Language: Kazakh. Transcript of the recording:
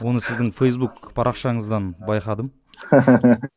оны сіздің фейсбук парақшаңыздан байқадым